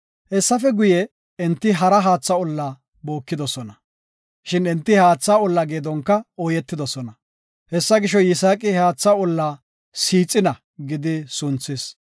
Hessafe guye, enti hara haatha olla bookidosona. Shin enti he haatha olla geedonka ooyetidosona. Hessa gisho, Yisaaqi he haatha olla “Siixina” gidi sunthis.